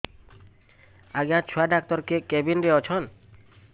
ଆଜ୍ଞା ଛୁଆ ଡାକ୍ତର କେ କେବିନ୍ ରେ ଅଛନ୍